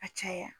A caya